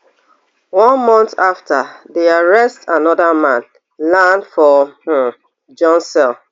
one month afta di arrest anoda man land for um john cell